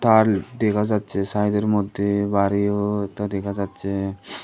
দেখা যাচ্ছে সাইডের মধ্যে বাড়িও একটা দেখা যাচ্ছে।